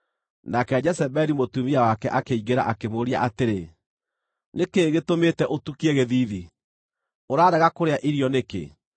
Nake Jezebeli mũtumia wake akĩingĩra akĩmũũria atĩrĩ, “Nĩ kĩĩ gĩtũmĩte ũtukie gĩthiithi? Ũrarega kũrĩa irio nĩkĩ?”